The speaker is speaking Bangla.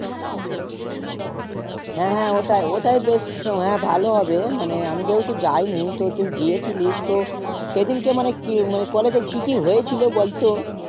হ্যাঁ ওটাই ওটাই দেখছি হ্যা ভালো হবে মানে আমি যেহুতু যায়নি তো তুই গিয়েছিলিস তো সেদিন কে মানে কি মানে college এ কি কি হয়েছিল বলতো